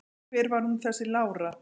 Hver var hún þessi Lára?